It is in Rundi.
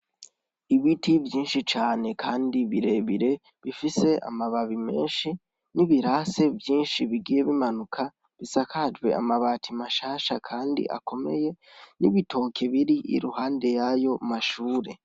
Ibiti vyinshi cane kandi birebire bifise amababi menshi nibirasi vyinshi bigiye bimanuka bisakajwe amabati mashasha kandi akomeye nibitoki biri Iruhande yayo mashure.